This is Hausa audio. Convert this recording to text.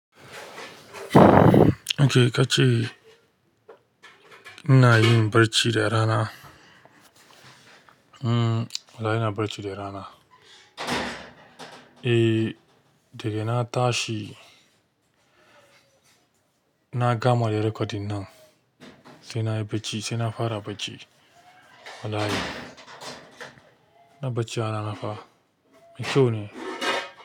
Okay, ka ce ina yin barci da rana? Hmm, wallahi ina barci de rana. Eh, dega na tashi, na gama da recording nan, sai na yi bacci, sai na fara bacci. Wallahi, na bacci rana fa mai cau ne.